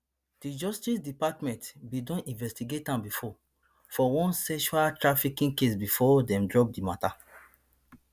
di justice department bin don investigate am bifor for one sextrafficking case bifor dem drop di mata